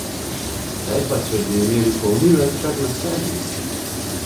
Kaj pa če bi imeli polnilec kar na sebi?